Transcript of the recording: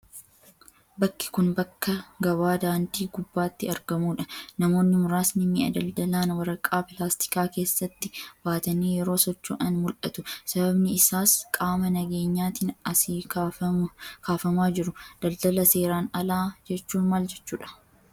Bakki kun, bakka gabaa daandii gubbaatti argamuu dha. Namoonni muraasni mi'a daldalan waraqaa pilaastikaa keessatti baatanii yeroo socho'an mul'atu. Sababni isaas qaama nageenyaatin asii kaafamaa jiru. Daldala seeran alaa jechuun maal jechuu dha?